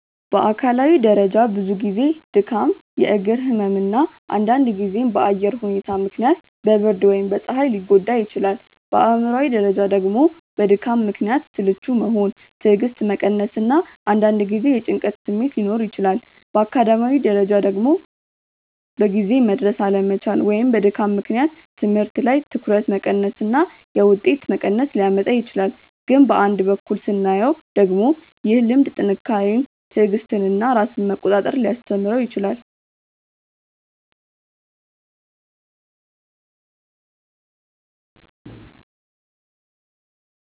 በአካላዊ ደረጃ ብዙ ጊዜ ድካም፣ የእግር ህመም እና አንዳንድ ጊዜም በአየር ሁኔታ ምክንያት በብርድ ወይም በፀሐይ ሊጎዳ ይችላል። በአእምሯዊ ደረጃ ደግሞ በድካም ምክንያት ስልቹ መሆን፣ ትዕግስት መቀነስ እና አንዳንድ ጊዜ የጭንቀት ስሜት ሊኖር ይችላል። በአካዳሚያዊ ደረጃ ደግሞ በጊዜ መድረስ አለመቻል ወይም በድካም ምክንያት ትምህርት ላይ ትኩረት መቀነስ እና የውጤት መቀነስ ሊያመጣ ይችላል። ግን በአንድ በኩል ስናየው ደግሞ ይህ ልምድ ጥንካሬን፣ ትዕግስትን እና ራስን መቆጣጠር ሊያስተምረው ይችላል